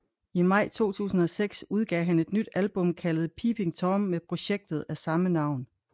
I maj 2006 udgav han et nyt album kaldet Peeping Tom med projektet af samme navn